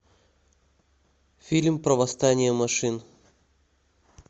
фильм про восстание машин